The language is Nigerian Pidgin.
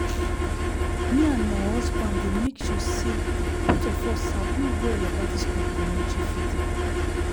me and my husband dey make sure say both of us sabi well about this complementary feeding